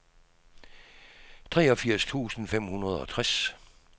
treogfirs tusind fem hundrede og tres